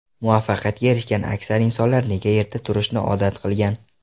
Muvaffaqiyatga erishgan aksar insonlar nega erta turishni odat qilgan?.